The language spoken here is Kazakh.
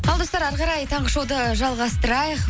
ал достар әрі қарай таңғы шоуды жалғастырайық